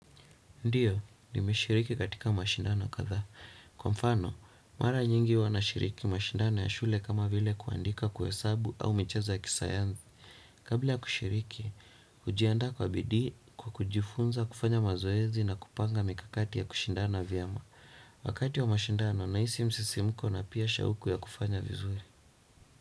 Ndiyo, nimeshiriki katika mashindano kadhaa. Kwa mfano, mara nyingi huwa nashiriki mashindano ya shule kama vile kuandika, kuhesabu au michezo ya kisayansi. Kabla ya kushiriki, hujiandaa kwa bidii kwa kujifunza, kufanya mazoezi na kupanga mikakati ya kushindana vyema. Wakati wa mashindano, nahisi msisimko na pia shauku ya kufanya vizuri.